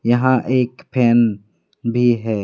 यहां एक फैन भी है।